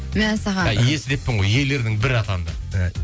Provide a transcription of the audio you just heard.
мәссаған иесі деппін ғой иелерінің бірі атанды